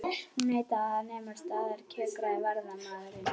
Hún neitaði að nema staðar kjökraði varðmaðurinn.